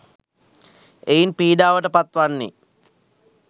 එයින් පීඩාවට පත් වන්නේ